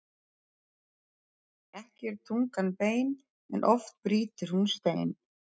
Ekki er tungan bein en oft brýtur hún stein.